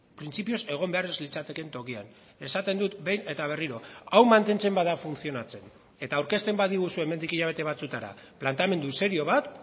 printzipioz egon behar ez litzatekeen tokian esaten dut behin eta berriro hau mantentzen bada funtzionatzen eta aurkezten badiguzue hemendik hilabete batzuetara planteamendu serio bat